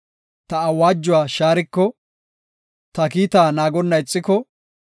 ta awaajuwa shaariko, ta kiita naagonna ixiko,